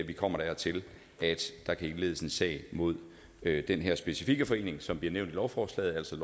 vi kommer dertil at der kan indledes en sag mod den her specifikke forening som bliver nævnt i lovforslaget altså